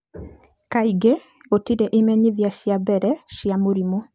Kaingĩ, gũtirĩ imenyithia cia mbere cia mũrimũ.